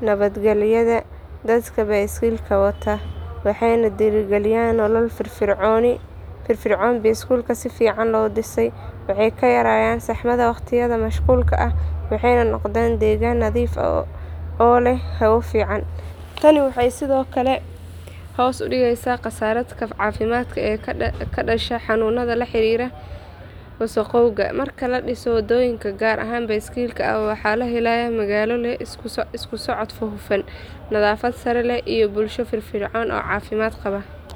nabadgelyada dadka baaskiilka wataa waxayna dhiirrigeliyaan nolol firfircoon oo caafimaad leh. Magaalooyinka leh waddooyin baaskiil si fiican loo dhisay waxaa ka yaraanaya saxmadda waqtiyada mashquulka ah waxayna noqdaan deegaan nadiif ah oo leh hawo fiican. Tani waxay sidoo kale hoos u dhigtaa kharashaadka caafimaadka ee ka dhasha xanuunada la xiriira wasakhowga. Marka la dhiso waddooyin gaar ah oo baaskiilka ah waxaa la helayaa magaalo leh isku socod hufan, nadaafad sare leh iyo bulsho firfircoon oo caafimaad qaba.